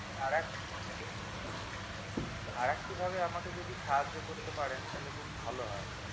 আর এক আর একটি ভাবে আমাকে যদি সাহায্য করতে পারেন তো খুব ভালো হয়